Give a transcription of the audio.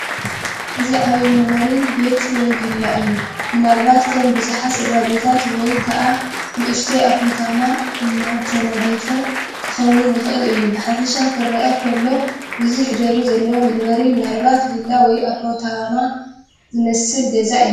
እዚ ዓብዪ መንበሪ ቤት ወይ ቪላ እዩ:: ምናልባት ከም ብዙሓት ስድራ ቤታት ወይ ከኣ ከም ንእሽቶ ኣፓርታማ እተነድፈ ኪኸውን ይኽእል እዩ። ብሓፈሻ ኺርአ ኸሎ ብዙሕ ደብሪ ዘለዎ መንበሪ ምናልባት ቪላ ወይ ኣፓርታማ ዝመስል ገዛ እዩ ።